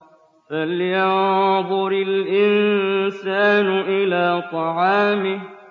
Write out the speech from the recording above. فَلْيَنظُرِ الْإِنسَانُ إِلَىٰ طَعَامِهِ